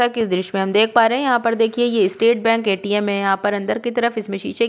कि इस दृश्य में हम देख पा रहे हैं यहाँ पर देखिए ये स्टेट बैंक ए.टी.एम. है। यहाँ पर अंदर की तरफ इसमें शीशे --